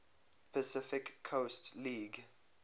pacific coast league